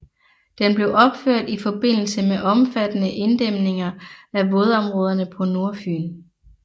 Den blev opført i forbindelse med omfattende inddæmninger af vådområderne på Nordfyn